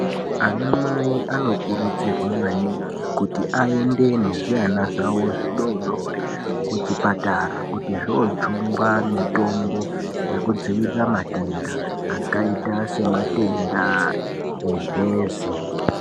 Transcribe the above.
Ana mai anokurudzirwa maningi kuti aende nezvivana zvawo zvidodori kuchipatara kuti zvojungwa mitombo yekudzivirira matenda akaita sematenda emhezi.